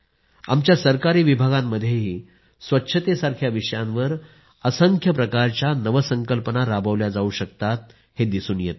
आमच्या सरकारी विभागांमध्येही स्वच्छतेसारख्या विषयांवर असंख्य प्रकारच्या नवसंकल्पना राबविल्या जावू शकतात हे दिसून येतंय